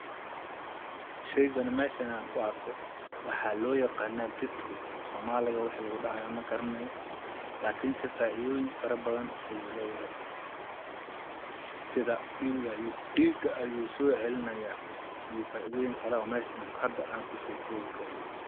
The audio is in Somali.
sheygani meeshan aan ku arko waxa loo yaqana beetroot afsoomaliga wixii lagu dhahayo magaranayo laakin se faaidooyin faro badan ayuu leeyahay, sida dhiiga ayuu soo celinaya iyo faaidooyin kale oo hada meeshan aa kuso koobi karin.